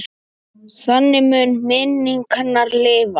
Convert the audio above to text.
Þannig mun minning hennar lifa.